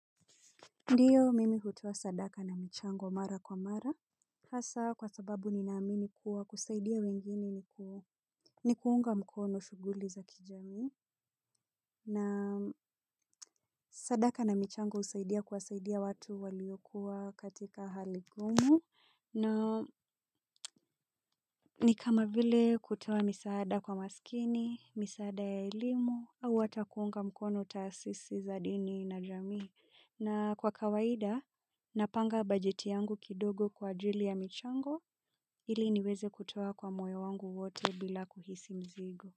Ndiyo mimi hutoa sadaka na michango mara kwa mara. Hasa kwa sababu ninaamini kuwa kusaidia wengine ni kuunga mkono shuguli za kijamii. Na sadaka na michango usaidia kuwasaidia watu waliokuwa katika hali gumu. Na ni kama vile kutoa misaada kwa masikini, misaada ya elimu, au atakuunga mkono taasisi za dini na jamii na kwa kawaida napanga bajeti yangu kidogo kwa ajili ya michango ili niweze kutoa kwa moyo wangu wote bila kuhisi mzigo.